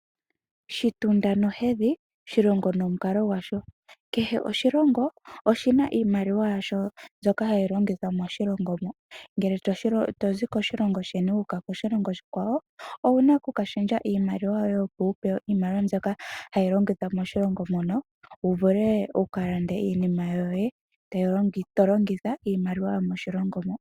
Shitunda nohedhi shilongo nomukalo gwasho, kehe oshilongo oshina iimaliwa yasho mbyoka hayi longithwa moshilongo mo, ngele tozi koshilongo sheni wu uka koshilongo oshikwawo owuna okukashendja iimaliwa yoye opo wu pewe iimaliwa mbyoka hayi longithwa moshilongo mono, wu vule wukalande iinima yoye to longitha iimaliwa yomoshilongo mo.